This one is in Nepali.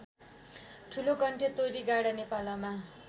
ठुलोकण्ठे तोरीगाँडा नेपालमा